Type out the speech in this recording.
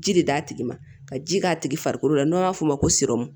Ji de d'a tigi ma ka ji k'a tigi farikolo la n'an b'a f'o ma ko siro